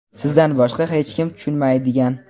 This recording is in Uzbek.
sizdan boshqa hech kim tushunmaydigan.